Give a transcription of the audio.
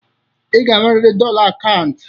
Ị ga-enweriri dọla akaụntụ.